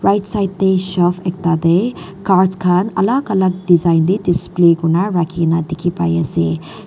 right side tae shelf ekta tae cards khan alak alak design tae display kurina rakhina dekhi paiase.